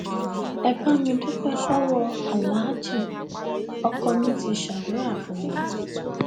ẹ bá mi dúpẹ lọwọ aláàjì ọkọ mi ti ṣàdúrà fún mi